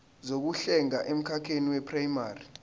zokuhlenga emkhakheni weprayimari